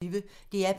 DR P1